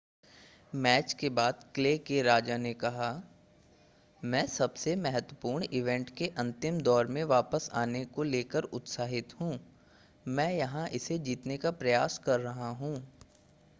match के बाद clay के राजा ने कहा मैं सबसे महत्वपूर्ण इवेंट के अंतिम दौर में वापस आने को लेकर उत्साहित हूं मैं यहां इसे जीतने का प्रयास कर रहा हूं